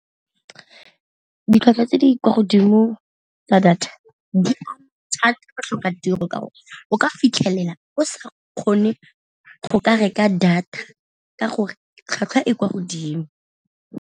Ditlhwatlhwa tse di kwa godimo tsa data di go tlhoka tiro, ka gore o ka fitlhelela o sa kgone go ka reka data ka gore tlhwatlhwa e kwa godimo.